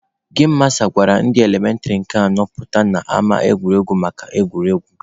Gem masta gwara ndị elementịrị nke anọ pụta n'ama egwuregwu maka egwuregwu.